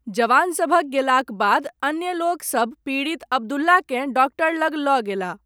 जवानसभक गेलाक बाद, अन्य लोक सब, पीड़ित अब्दुल्लाकेँ, डॉक्टर लग लऽ गेलाह।